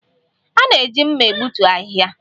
A na-eji mma egbutu ahịhịa